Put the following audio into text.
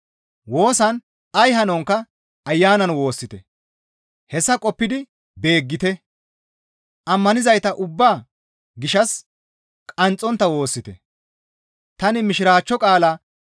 Woosan ay hanonkka Ayanan woossite; hessa qoppidi beeggite; ammanizayta ubbaa gishshas qanxxontta woossite. Kumeththa ola massarara diza Oroome wottadara